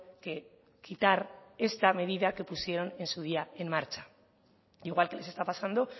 que quitar esta medida que pusieron en su día en marcha igual que les está pasando